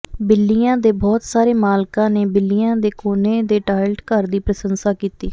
ਬਿੱਲੀਆਂ ਦੇ ਬਹੁਤ ਸਾਰੇ ਮਾਲਕਾਂ ਨੇ ਬਿੱਲੀਆਂ ਦੇ ਕੋਨੇ ਦੇ ਟਾਇਲਟ ਘਰ ਦੀ ਪ੍ਰਸ਼ੰਸਾ ਕੀਤੀ